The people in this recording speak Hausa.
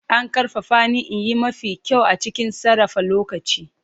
An ƙarfafa ni in yi mafi kyau a cikin sarrafa lokaci.